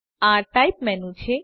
આ type menu છે